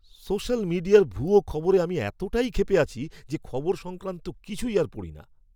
Social মিডিয়ার ভুয়ো খবরে আমি এতটাই ক্ষেপে আছি যে খবর সংক্রান্ত কিছুই আর পড়ি না!